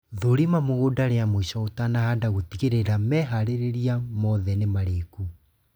Thũrima mũgũnda ria mũico ũtanahanda gũtigĩrĩra meharĩria mothe nĩ marĩku